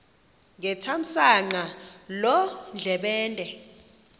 ngethamsanqa loo ndlebende